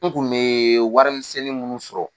N kun me warimisɛnnin munnu sɔrɔ